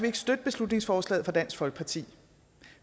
ikke støtte beslutningsforslaget fra dansk folkeparti